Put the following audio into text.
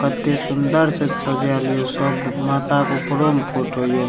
कते सुन्दर से सज़ाएल हियो सब माता के ऊपरो में फोटो हियो।